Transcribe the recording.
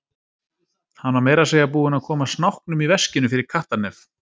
Hann var meira að segja búinn að koma snáknum í veskinu fyrir kattarnef!